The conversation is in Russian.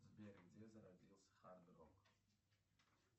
сбер где зародился хард рок